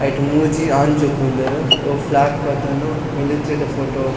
ಐಟ್ ಮೂಜಿ ಆನ್ ಜೋಕುಲು ಉಲ್ಲೆರ್ ಬೊಕ್ ಫ್ಲೇಗ್ ಪತೊನ್ನು ಮಿಲಿಟ್ರಿ ದ ಫೊಟೊ .